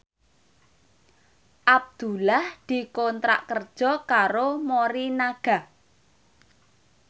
Abdullah dikontrak kerja karo Morinaga